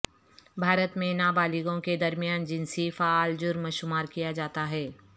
بھارت میں نابالغوں کے درمیان جنسی فعل جرم شمار کیا جاتا ہے